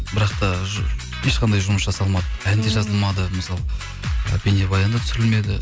бірақ та ешқандай жұмыс жасалмады ән де жазылмады мысалы і бейнебаян да түсірілмеді